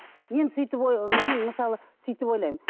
мен сөйтіп мен мысалы сөйтіп ойлаймын